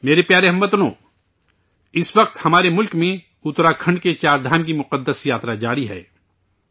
میرے پیارے اہل وطن ، اس وقت ہمارے ملک میں اتراکھنڈ کے 'چار دھام' کی مقدس یاترا چل رہی ہے